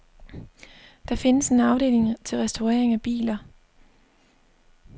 Der findes en afdeling til restaurering af biler.